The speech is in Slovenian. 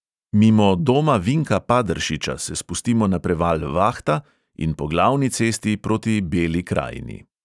Mimo doma vinka paderšiča se spustimo na preval vahta in po glavni cesti proti beli krajini.